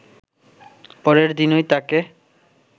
পরের দিনই তাঁকে